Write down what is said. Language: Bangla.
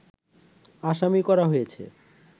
আসামি করা হয়েছে